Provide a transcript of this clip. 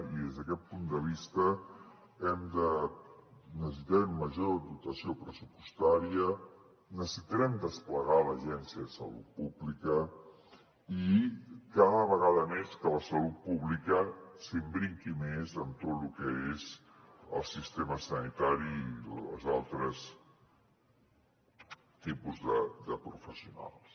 i des d’aquest punt de vista necessitarem major dotació pressupostària necessitarem desplegar l’agència de salut pública i cada vegada més que la salut pública s’imbriqui més en tot lo que és el sistema sanitari i els altres tipus de professionals